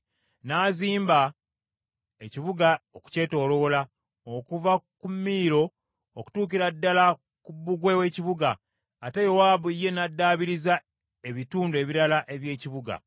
N’azimba ekibuga okukyetooloola, okuva ku Miiro okutuukira ddala ku bbugwe w’ekibuga, ate Yowaabu ye n’addaabiriza ebitundu ebirala eby’ekibuga.